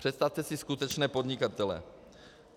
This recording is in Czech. Představte si skutečné podnikatele.